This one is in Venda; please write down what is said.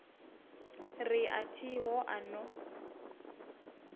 ri a thiho a no